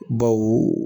Baw